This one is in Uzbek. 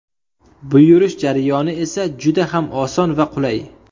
Buyurish jarayoni esa juda ham oson va qulay.